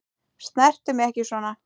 Snertu mig ekki svona.